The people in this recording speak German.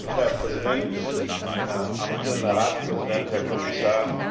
Herr Präsident, Herr amtierender Ratspräsident, Herr Kommissar!